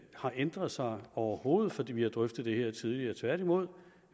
har ændret sig overhovedet fordi vi har drøftet det her tidligere tværtimod